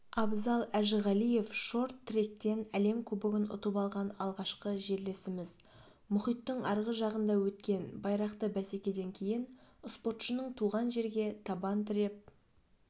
абзал әжіғалиев шорт-тректен әлем кубогын ұтып алған алғашқы жерлесіміз мұхиттың арғы жағында өткен байрақты бәсекеден кейін спортшының туған жерге табан тіреп